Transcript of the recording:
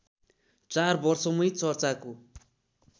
चार वर्षमै चर्चाको